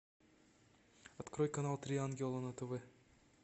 открой канал три ангела на тв